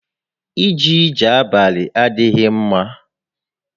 Íjé íjè abalị adịghị ḿmá